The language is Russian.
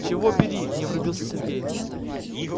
чего бери не врубился сергей